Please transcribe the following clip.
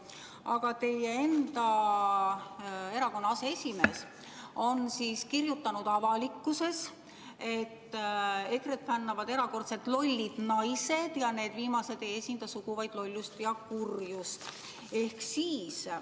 Aga teie enda erakonna aseesimees on kirjutanud avalikult, et EKRE-t fännavad erakordselt lollid naised ja need viimased ei esinda sugu, vaid lollust ja kurjust.